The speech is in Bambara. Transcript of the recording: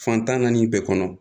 Fantan naani bɛɛ kɔnɔ